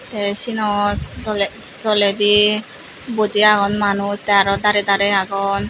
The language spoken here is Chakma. tey siyenot toley toledi boji agon manuj tey aro darey darey agon.